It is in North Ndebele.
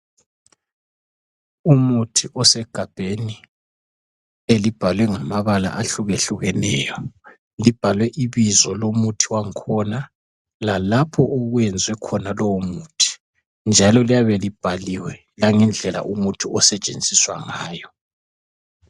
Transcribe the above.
Umuthi osegabheni elibhalwe ngamabala ahlukehlukeneyo, libhalwe ibizo lomuthi wang'khona lalapho okwenziwe khona lowo muthi, njalo liyabe libhaliwe langendlela umuthi osetshenziswa ngayo.